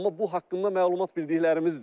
Amma bu haqqında məlumat bildiklərimizdir.